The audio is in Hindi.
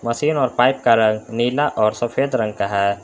मशीन और पाइप का रंग नीला और सफेद रंग का है।